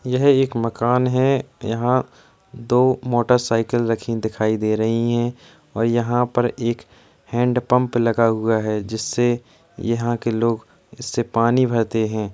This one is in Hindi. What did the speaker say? यह एक मकान हैं यहाँ दो मोटरसाइकिल रखी दिखाई दे रही हैं और यहाँ पर एक हैंडपंप लगा हुआ हैं जिससे यहाँ के लोग इससे पानी भरते हैं।